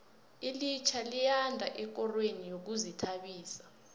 ilitjha liyanda ekorweni yezokuzithabisa